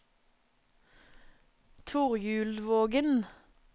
Torjulvågen